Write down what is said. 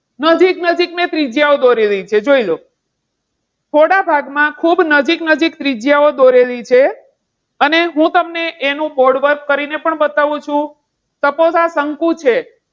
નજીક નજીક ત્રિજ્યાઓ દોરેલી છે. જોઈ લો. થોડા ભાગમાં ખૂબ જ નજીક નજીક ત્રિજ્યાઓ દોરેલી છે અને હું તમને એનો board work કરીને પણ બતાવું છું. suppose શંકુ છે.